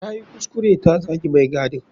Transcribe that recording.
Tayi kuskure ta zagi mai gadin.